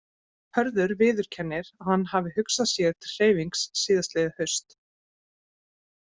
Hörður viðurkennir að hann hafi hugsað sér til hreyfings síðastliðið haust.